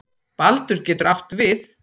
Baldur getur átt við